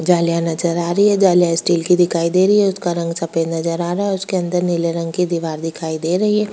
जालियां नजर आ रही है जालियां स्टील की दिखाई दे रही है उसका रंग सफेद नजर आ रहा है उसके अंदर नीले रंग की दीवार दिखाई दे रही है।